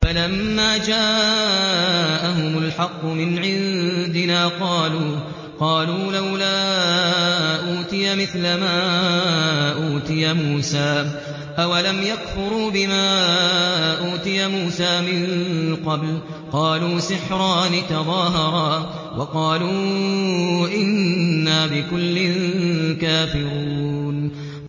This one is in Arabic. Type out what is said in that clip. فَلَمَّا جَاءَهُمُ الْحَقُّ مِنْ عِندِنَا قَالُوا لَوْلَا أُوتِيَ مِثْلَ مَا أُوتِيَ مُوسَىٰ ۚ أَوَلَمْ يَكْفُرُوا بِمَا أُوتِيَ مُوسَىٰ مِن قَبْلُ ۖ قَالُوا سِحْرَانِ تَظَاهَرَا وَقَالُوا إِنَّا بِكُلٍّ كَافِرُونَ